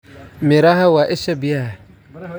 Miraha waa isha biyaha.